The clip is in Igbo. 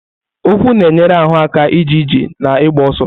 Ụkwụ na-enyere ahụ aka ije ije na ịgba ọsọ.